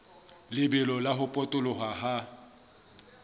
lebelo la ho potoloha ha